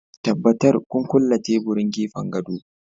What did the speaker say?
Tabbatar kun kulle teburin gefen gado